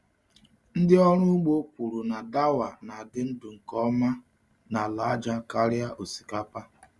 Ndị ọrụ ugbo kwuru na dawa na-adị ndụ nke ọma n’ala aja karịa osikapa.